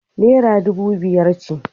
Naira dubu biyar ce.